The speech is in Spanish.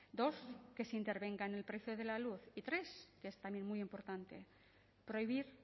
dos que se intervenga en el precio de la luz y tres que es también muy importante prohibir